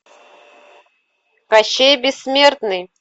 кощей бессмертный